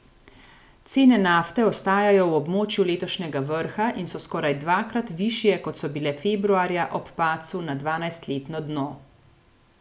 Cene nafte ostajajo v območju letošnjega vrha in so skoraj dvakrat višje, kot so bile februarja ob padcu na dvanajstletno dno.